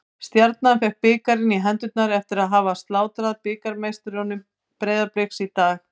Taka tillit til minna skoðana þó að þær séu kannski vitlausar.